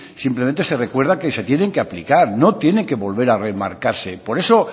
simplemente se recuerda que se tienen que aplicar no tienen que volver a remarcarse por eso